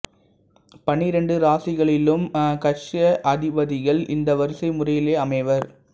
பன்னிரண்டு ராசிகளிலும் கக்ஷ்ய அதிபதிகள் இந்த வரிசை முறையிலேயே அமைவர்